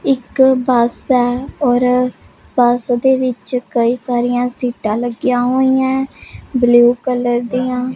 ਇੱਕ ਬੱਸ ਹੈ ਔਰ ਬੱਸ ਦੇ ਵਿੱਚ ਕਈ ਸਾਰੀਆਂ ਸੀਟਾਂ ਲੱਗਿਆ ਹੋਈ ਆਂ ਹੈ ਬਲੂ ਕਲਰ ਦੀਆਂ।